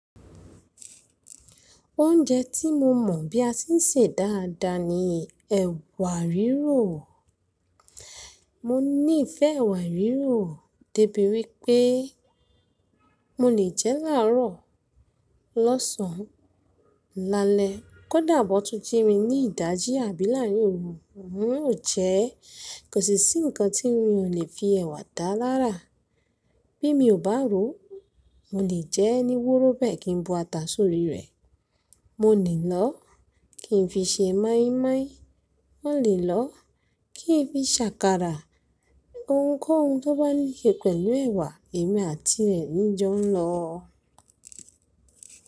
Oúnjẹ tí mo mọ̀ bí a ti ń sè dáadáa ni ẹ̀wà rírò. Mo níìfẹ́ ẹ̀wà rírò, débí wípé mo lè jẹ́ láàárọ̀, lọ́sàn, lálẹ́, kó dàbọ̀ tún jí mi ní ìdájí àbí láàrin oru ń óò jẹ́. Kò sí sí ǹkan tí n ò lè fi ẹ̀wà dá lára. Bí mi ò bá rò ó, mo lè jẹ́ ẹ́ ní wúrú bẹ́ẹ̀ kí n bo ata sórí rẹ̀, mo lè lọ́ kí n fi ṣe moímoi, mo lè lọ́ kí n fi ṣa àkàrà. Ohunkóhun tó bá níse pẹ̀lú ẹ̀wà èmi àti rẹ̀ ni í jọ ń lọ.